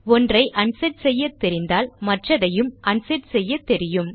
ஒன்றை அன்செட் செய்யத் தெரிந்தால் மற்றதையும் அன்செட் செய்ய தெரியும்